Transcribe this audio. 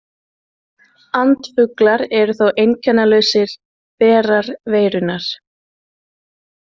Andfuglar eru þó einkennalausir berar veirunnar.